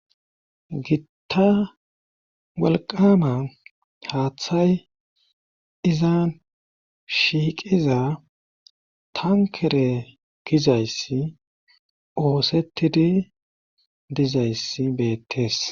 gitta walqama haaththay izan shiiqiza tankere gizayssi oosettidi dizayssi beettes